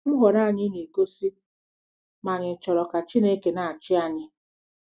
Nhọrọ anyị na-egosi ma ànyị chọrọ ka Chineke na-achị anyị